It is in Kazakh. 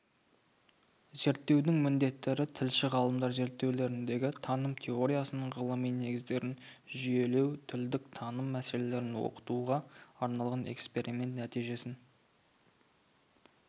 зерттеудің міндеттері тілші-ғалымдар зерттеулеріндегі таным теориясының ғылыми негіздерін жүйелеу тілдік таным мәселелерін оқытуға арналған эксперимент нәтижесін